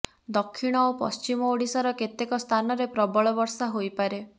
ଦକ୍ଷିଣ ଓ ପଶ୍ଚିମ ଓଡ଼ିଶାର କେତେକ ସ୍ଥାନରେ ପ୍ରବଳ ବର୍ଷା ହୋଇପାରେ